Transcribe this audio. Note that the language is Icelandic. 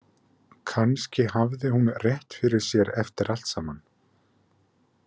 Kannski hafði hún rétt fyrir sér eftir allt saman.